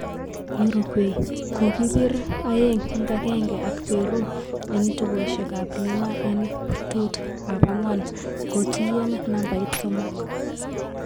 Uruguay, kokikipir 2-1 ak peru en tukoshek ap Lima en prtut ap akwan, kotiyen nabait somok